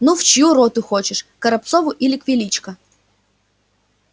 ну в чью роту хочешь к горобцову или к величко